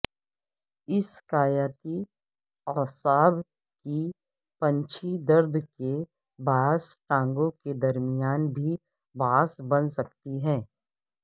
اسکائیاتی اعصاب کی پنچھی درد کے باعث ٹانگوں کے درمیان بھی باعث بن سکتی ہے